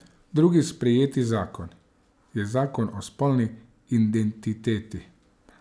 Drugi sprejeti zakon je zakon o spolni identiteti.